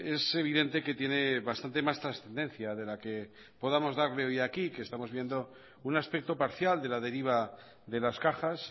es evidente que tiene bastante más trascendencia de la que podamos darle hoy aquí que estamos viendo un aspecto parcial de la deriva de las cajas